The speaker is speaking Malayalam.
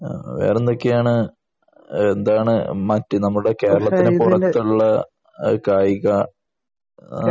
വേറെ എന്തൊക്കെയാണ് എന്താണ് മറ്റു നമ്മുടെ കേരളത്തിനകത്തുള്ള കായിക ആഹ്